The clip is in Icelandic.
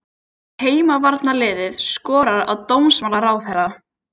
Heimavarnarliðið skorar á dómsmálaráðherra